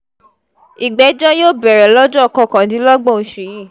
ìgbẹ́jọ́ yóò bẹ̀rẹ̀ lọ́jọ́ kọkàndínlọ́gbọ̀n oṣù yìí